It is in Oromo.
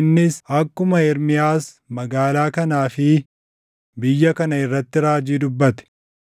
innis akkuma Ermiyaas magaalaa kanaa fi biyya kana irratti raajii dubbate.